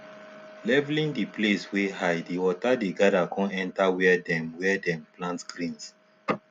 leveling the place wey high the water dey gather con enter where dem where dem plant greens